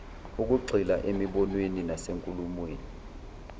ukugxila emibonweni nasenkulumweni